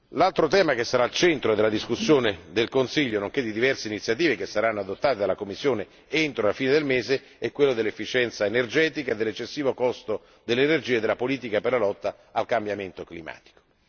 L'altro tema che sarà al centro della discussione del Consiglio, nonché di diverse iniziative che saranno adottate dalla Commissione entro la fine del mese, è quello dell'efficienza energetica, dell'eccessivo costo dell'energia e della politica per la lotta al cambiamento climatico.